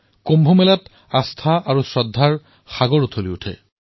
কুম্ভ মেলাত আস্থা আৰু শ্ৰদ্ধাৰ আদানপ্ৰদান হয়